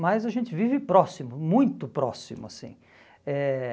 Mas a gente vive próximo, muito próximo assim. Eh